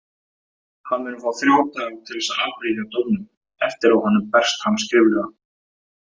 Hann mun fá þrjá daga til að áfrýja dómnum eftir að honum berst hann skriflega.